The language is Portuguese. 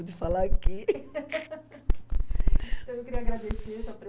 falar aqui. Então, eu queria agradecer a sua